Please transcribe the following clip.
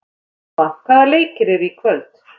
Karma, hvaða leikir eru í kvöld?